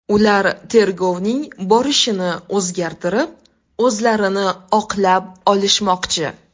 Ular tergovning borishini o‘zgartirib, o‘zlarini oqlab olishmoqchi.